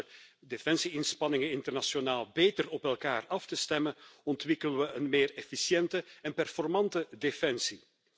Door onze defensie inspanningen internationaal beter op elkaar af te stemmen ontwikkelen we een meer efficiënte en slagvaardige defensie.